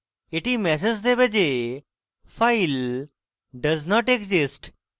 এটি ম্যাসেজ দেবে যে file does not exist